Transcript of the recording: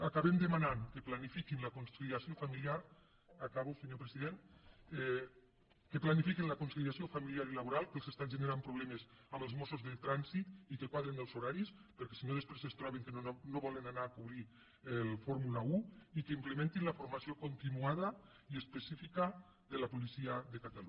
acabem demanant que planifiquin la conciliació familiar acabo senyor president que planifiquin la conciliació familiar i laboral que els està generant problemes amb els mossos de trànsit i que quadrin els horaris perquè si no després es troben que no volen anar a cobrir la fórmula un i que implementin la formació continuada i específica de la policia de catalunya